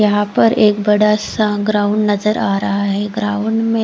यहा पर एक बड़ा सा ग्राउंड नजर आ रहा है ग्राउंड में--